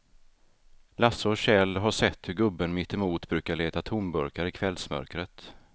Lasse och Kjell har sett hur gubben mittemot brukar leta tomburkar i kvällsmörkret.